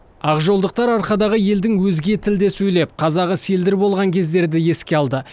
ақжолдықтар арқадағы елдің өзге тілде сөйлеп қазағы селдір болған кездерді еске алды